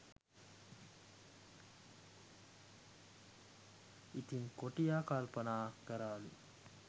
ඉතිං කොටියා කල්පනා කරාලු